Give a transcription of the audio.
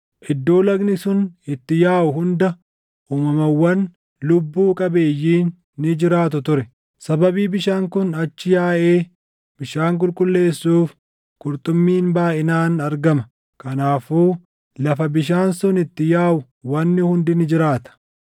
Iddoo lagni sun itti yaaʼu hunda uumamawwan lubbuu qabeeyyiin ni jiraatu ture. Sababii bishaan kun achi yaaʼee bishaan qulqulleessuuf, qurxummiin baayʼinaan argama; kanaafuu lafa bishaan sun itti yaaʼu wanni hundi ni jiraata.